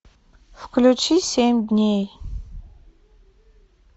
включи семь дней